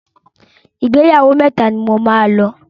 Ìgbéyàwó mẹ́ta ni mo máa lọ.